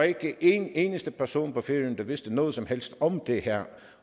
ikke en eneste person på færøerne der vidste noget som helst om det her